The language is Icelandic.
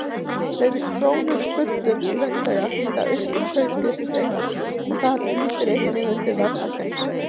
Fleiri krónur í buddum launþega þýða aukna kaupgetu þeirra og það ýtir einnig undir verðhækkanir.